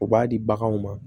U b'a di baganw ma